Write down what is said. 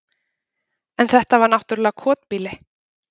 En þetta var náttúrlega kotbýli.